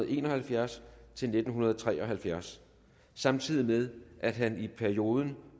en og halvfjerds til nitten tre og halvfjerds samtidig med at han i perioden